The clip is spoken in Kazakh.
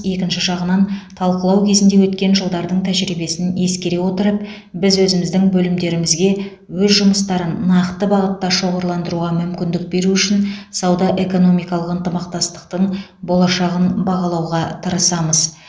екінші жағынан талқылау кезінде өткен жылдардың тәжірибесін ескере отырып біз өзіміздің бөлімдерімізге өз жұмыстарын нақты бағытта шоғырландыруға мүмкіндік беру үшін сауда экономикалық ынтымақтастықтың болашағын бағалауға тырысамыз